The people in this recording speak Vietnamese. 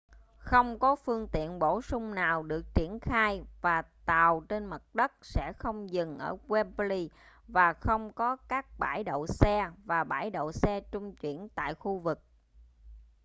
không có phương tiện bổ sung nào được triển khai và tàu trên mặt đất sẽ không dừng ở wembley và không có các bãi đậu xe và bãi đậu xe trung chuyển tại khu vực